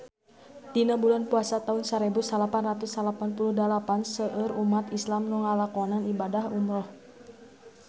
Dina bulan Puasa taun sarebu salapan ratus salapan puluh dalapan seueur umat islam nu ngalakonan ibadah umrah